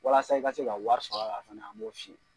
Walasa i ka se ka wari fɛnɛ an b'o f'i ye.